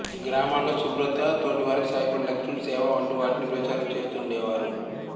గ్రామాలలో శుభ్రత తోటివారికి సాయపడే లక్షణం సేవ వంటివాటిని ప్రచారం చేస్తూండేవారు